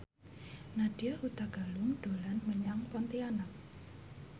Nadya Hutagalung dolan menyang Pontianak